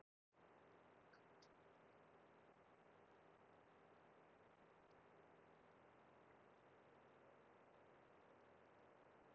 Reglulegar bylgjur af svipaðri tíðni sjást í ákveðnum sjúkdómum og eftir inntöku sumra lyfja.